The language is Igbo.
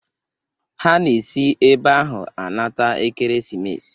Ha na esi ebe ahụ anata ekeremesis.